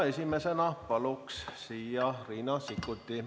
Esimesena palun siia Riina Sikkuti.